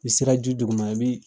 I sera ji dugu ma i bi